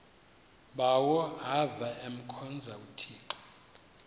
bawo avemkhonza uthixo